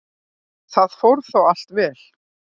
Það fór þó allt vel.